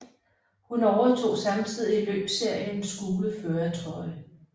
Hun overtog samtidig løbsseriens gule førertrøje